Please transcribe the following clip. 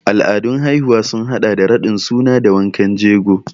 Al'adun haihuwa sun haɗa da raɗin suna da wankan jego.